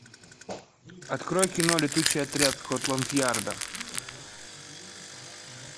открой кино летучий отряд скотланд ярда